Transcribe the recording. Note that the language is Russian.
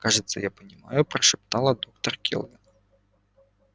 кажется я понимаю прошептала доктор кэлвин